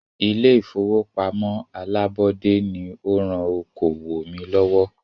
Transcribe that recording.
Ilé ìfọwọ́pamo alábọ́dé ní o rán okoòwò mí lọ́wọ́.